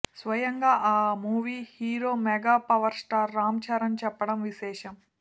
స్వయంగా ఆ movie hero mega power star Ram Charan చెప్పడం విశేషం